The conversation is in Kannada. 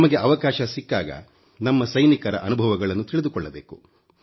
ನಮಗೆ ಅವಕಾಶ ಸಿಕ್ಕಾಗ ನಮ್ಮ ಸೈನಿಕರ ಅನುಭವಗಳನ್ನು ತಿಳಿದುಕೊಳ್ಳಬೇಕು